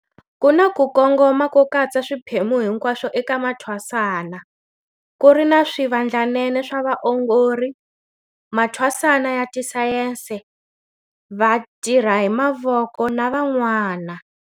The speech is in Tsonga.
Ku na ku kongoma ko katsa swiphemu hinkwaswo eka mathwasana, ku ri na swivandlanene swa vaongori, mathwasana ya tisayense, vatirha-hi-mavoko na van'wana.